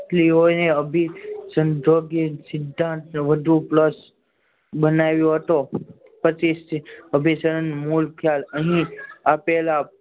શાસ્ત્રીઓને અભી સંતો કે સિદ્ધાંતો વધુ plus બનાવ્યો હતો. પચીસ થી અભી શ્રદ્ધાન મૂળ ખ્યાલ અહીં આપેલા